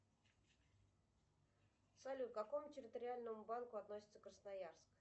салют к какому территориальному банку относится красноярск